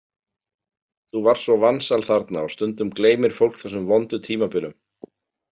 Þú varst svo vansæl þarna og stundum gleymir fólk þessum vondu tímabilum.